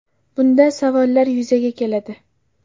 Bunda savollar yuzaga keladi.